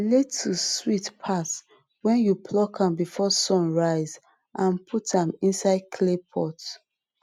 lettuce sweet pass when you pluck am before sun rise and put am inside clay pot